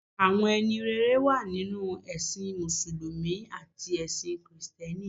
Àwọn ẹni rere wà nínú ẹ̀sìn mùsùlùmí àti ẹ̀sin kìrìsìtẹ́nì.